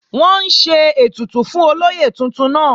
Wọ́n ń ṣe ètùtù fún olóyè tuntun náà